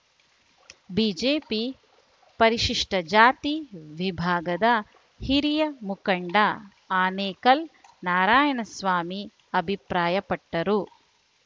BJP ಪರಿಶಿಷ್ಟಜಾತಿ ವಿಭಾಗದ ಹಿರಿಯ ಮುಖಂಡ ಆನೇಕಲ್‌ ನಾರಾಯಣಸ್ವಾಮಿ ಅಭಿಪ್ರಾಯಪಟ್ಟರು